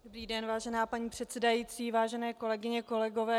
Dobrý den, vážená paní předsedající, vážené kolegyně, kolegové.